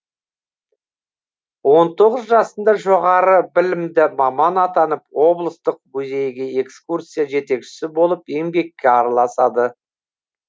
он тоғыз жасында жоғары білімді маман атанып облыстық музейге экскурсия жетекшісі болып еңбекке араласады